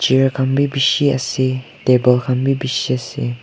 air khan bi bishi ase table khan bi bishi ase.